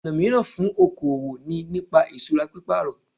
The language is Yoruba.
Ọ̀nà míràn fún okoòwò ni nípa ìsura pípàrọ̀